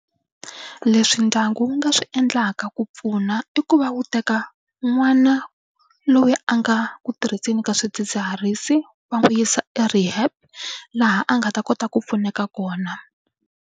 Leswi ndyangu wu nga swi endlaka ku pfuna i ku va wu teka n'wana loyi a nga ku tirhiseni ka swidzidziharisi va n'wi yisa e-rehab laha a nga ta kota ku pfuneka kona.